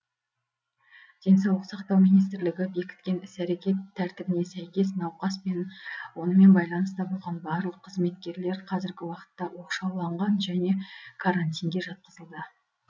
денсаулық сақтау министрлігі бекіткен іс әрекет тәртібіне сәйкес науқас пен онымен байланыста болған барлық қызметкерлер қазіргі уақытта оқшауланған және карантинге жатқызылды